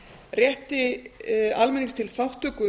rétti almennings til þátttöku